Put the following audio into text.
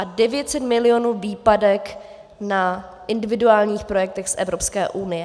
A 900 milionů výpadek na individuálních projektech z Evropské unie.